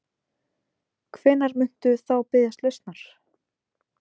Þorbjörn: Hvenær muntu þá biðjast lausnar?